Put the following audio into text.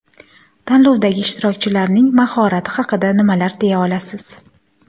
Tanlovdagi ishtirokchilarning mahorati haqida nimalar deya olasiz?